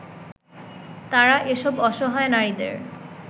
তারা এসব অসহায় নারীদের